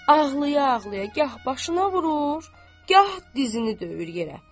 Ağlaya-ağlaya gah başına vurur, gah dizini döyür yerə.